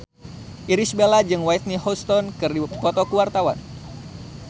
Irish Bella jeung Whitney Houston keur dipoto ku wartawan